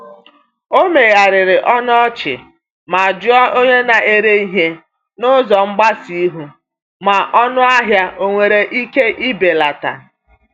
O megharịrị ọnụ ọchị ma jụọ onye na-ere ihe n’ụzọ mgbasa ihu ma ọnụahịa onwere ike ibelata.